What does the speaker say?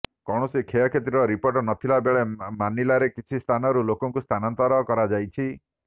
କୌଣସି କ୍ଷୟକ୍ଷତିର ରିପୋର୍ଟ ନଥିଲା ବେଳେ ମାନିଲାରେ କିଛି ସ୍ଥାନରୁ ଲୋକଙ୍କୁ ସ୍ଥାନାନ୍ତର କରାଯାଇଛି